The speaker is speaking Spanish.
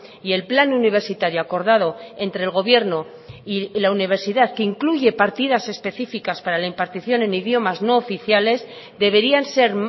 y el plan universitario acordado entre el gobierno y la universidad que incluye partidas específicas para la impartición en idiomas no oficiales deberían ser